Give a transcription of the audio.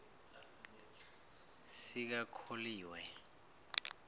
sikakholiwe